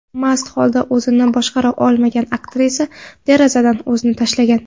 Mast holda o‘zini boshqara olmagan aktrisa derazadan o‘zini tashlagan.